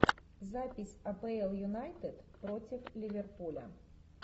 запись апл юнайтед против ливерпуля